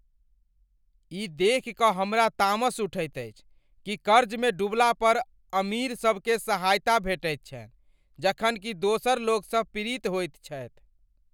ई देखि कऽ हमरा तामस उठैत अछि कि कर्जमे डुबला पर अमीरसभकेँ सहायता भेटैत छनि जखन कि दोसरलोकसभ पीड़ित होइत छथि।